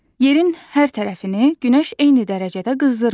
Yerin hər tərəfini günəş eyni dərəcədə qızdırmır.